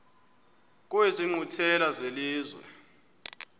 kwezi nkqwithela zelizwe